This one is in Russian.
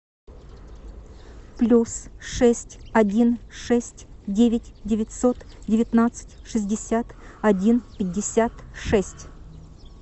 плюс шесть один шесть девять девятьсот девятнадцать шестьдесят один пятьдесят шесть